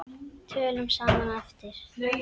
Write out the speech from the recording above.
Tölum saman á eftir.